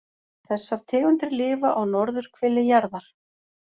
Þessar tegundir lifa á norðurhveli jarðar.